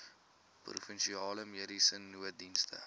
provinsiale mediese nooddienste